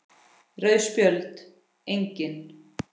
Rauð Spjöld: Engin.